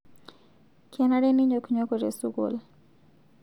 Kenare ninyoknyoko te sukuul